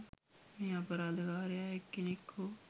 මේ අපරාධකාරයා එක්කෙනෙක් හෝ